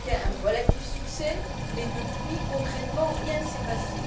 Cancún a été un relatif succès mais depuis, concrètement, rien ne s'est passé.